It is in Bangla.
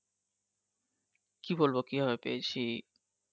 কি বলবো কি ভাবে পেয়েছি